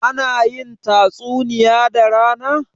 ana yin tatsuniya da rana?